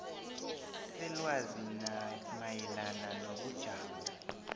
selwazi mayelana nobujamo